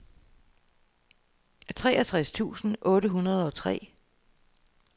treogtres tusind otte hundrede og tre